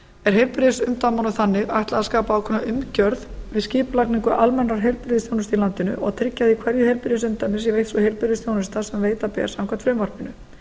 er heilbrigðisumdæmunum þannig ætlað að skapa ákveðna umgjörð við skipulagningu almennrar heilbrigðisþjónustu í landinu og tryggja að í hverju heilbrigðisumdæmi sé veitt sú heilbrigðisþjónusta sem veita ber samkvæmt frumvarpinu